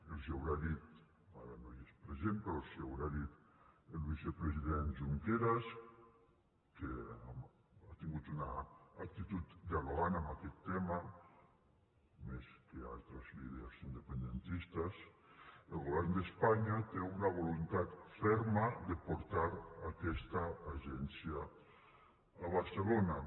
els ho deu haver dit ara no hi és present però els ho deu haver dit el vicepresident junqueras que ha tingut una actitud dialogant en aquest tema més que altres líders independentistes el govern d’espanya té una voluntat ferma de portar aquesta agència a barcelona